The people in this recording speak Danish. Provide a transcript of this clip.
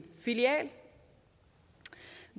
filial